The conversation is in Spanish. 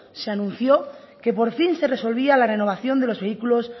se anunció que por fin se resolvía la renovación de los vehículos